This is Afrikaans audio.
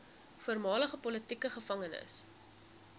voormalige politieke gevangenes